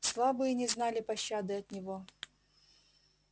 слабые не знали пощады от него